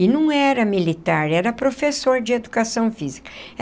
E não era militar, era professor de educação física.